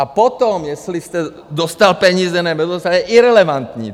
A potom, jestli jste dostal peníze nebo nedostal, je irelevantní.